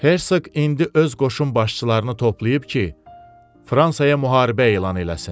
Hersk indi öz qoşun başçılarını toplayıb ki, Fransaya müharibə elan eləsin.